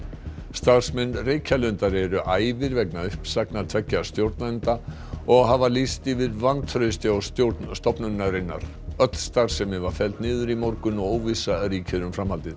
starfsmenn Reykjalundar eru æfir vegna uppsagna tveggja stjórnenda og hafa lýst yfir vantrausti á stjórn stofnunarinnar öll starfsemi var felld niður í morgun og óvissa ríkir um framhaldið